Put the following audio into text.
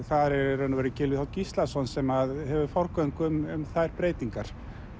er í raun og veru Gylfi þ Gíslason sem hefur forgöngu um þær breytingar